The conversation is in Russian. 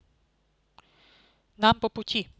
нам по пути